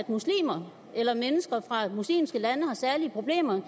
muslimer eller mennesker fra muslimske lande har særlige problemer